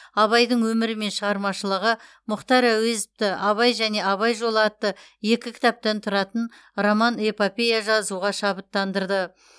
абайдың өмірі мен шығармашылығы мұхтар әуезовті абай және абай жолы атты екі кітаптан тұратын роман эпопея жазуға шабыттандырды